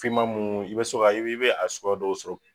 Finma mun, i bɛ so ka i i bi a sogoya dɔw sɔrɔ .